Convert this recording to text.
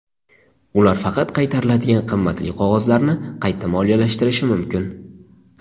Ular faqat qaytariladigan qimmatli qog‘ozlarni qayta moliyalashtirishi mumkin.